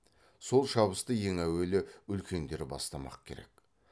сол шабысты ең әуелі үлкендер бастамақ керек